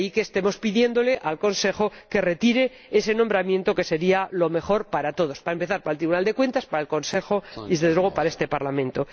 De ahí que estemos pidiéndole al Consejo que retire ese nombramiento, que sería lo mejor para todos, para empezar, para el Tribunal de Cuentas, para el Consejo y, desde luego, para este Parlamento.